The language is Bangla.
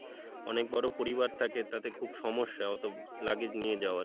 অনেক বড়ো পরিবার থেকে তাতে খুব সমস্যা অতো luggage নিয়ে যাওয়ার,